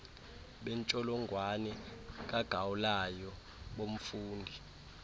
bentsholongwane kagaulayo bomfundi